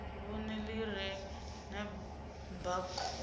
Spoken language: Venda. vhuṅe ḽi re na baakhoudu